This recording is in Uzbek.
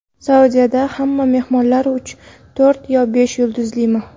Saudiyada hamma mehmonxonalar uch, to‘rt yo besh yulduzlimi?.